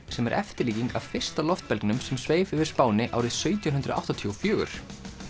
sem er eftirlíking af fyrsta sem sveif yfir Spáni árið sautján hundruð áttatíu og fjögur